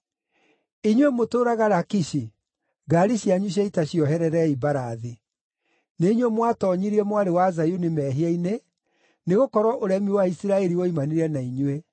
Inyuĩ mũtũũraga Lakishi, ngaari cianyu cia ita ciohererei mbarathi. Nĩ inyuĩ mwatoonyirie Mwarĩ wa Zayuni mehia-inĩ, nĩgũkorwo ũremi wa Isiraeli woimanire na inyuĩ.